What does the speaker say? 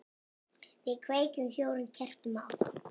Við kveikjum fjórum kertum á.